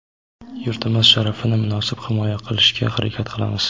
yurtimiz sharafini munosib himoya qilishga harakat qilamiz!.